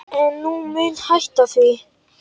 En ég mun hætta því.